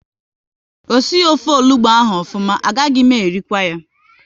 O sighi ofe onugbu ahụ ofuma, a gaghị m erikwu ya